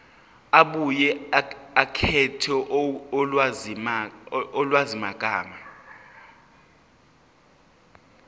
abuye akhethe ulwazimagama